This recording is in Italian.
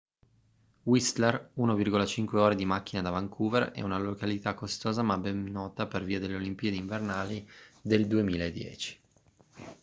whistler 1,5 ore di macchina da vancouver è una località costosa ma ben nota per via delle olimpiadi invernali del 2010